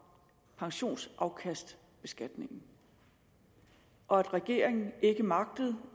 pensionsafkastbeskatningen og at regeringen ikke magtede